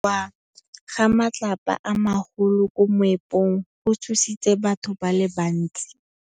Go wa ga matlapa a magolo ko moepong go tshositse batho ba le bantsi.